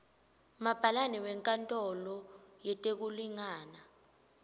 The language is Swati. mabhalane wenkantolo yetekulingana